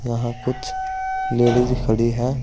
वहां कुछ लेडिज खड़ी हैं।